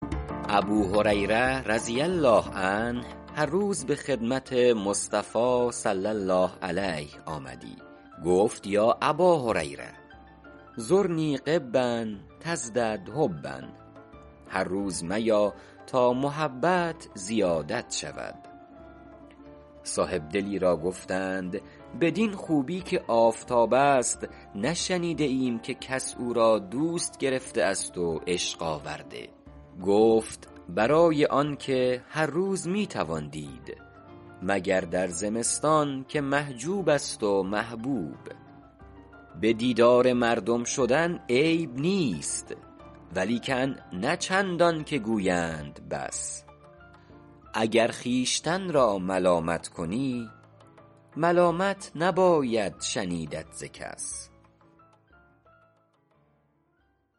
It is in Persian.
ابوهریره رضی الله عنه هر روز به خدمت مصطفی صلی الله علیه آمدی گفت یا اباهریرة زرنی غبا تزدد حبا هر روز میا تا محبت زیادت شود صاحبدلی را گفتند بدین خوبی که آفتاب است نشنیده ایم که کس او را دوست گرفته است و عشق آورده گفت برای آنکه هر روز می توان دید مگر در زمستان که محجوب است و محبوب به دیدار مردم شدن عیب نیست ولیکن نه چندان که گویند بس اگر خویشتن را ملامت کنی ملامت نباید شنیدت ز کس